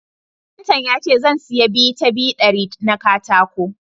Kafinta ya ce zan siya 2 ta 2 dari na katako